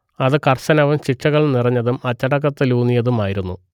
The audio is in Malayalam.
അത് കർശനവും ശിക്ഷകൾ നിറഞ്ഞതും അച്ചടക്കത്തിലൂന്നിയതും ആയിരുന്നു